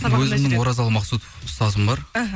өзімнің оразалы мақсұтов ұстазым бар іхі